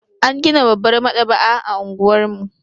An gina babbar maɗaba'a a unguwar mu.